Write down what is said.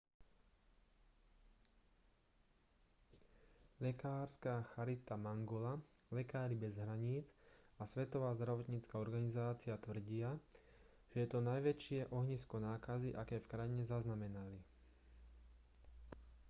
lekárska charita mangola lekári bez hraníc a svetová zdravotnícka organizácia tvrdia že je to najväčšie ohnisko nákazy aké v krajine zaznamenali